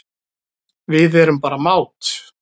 Við erum bara mát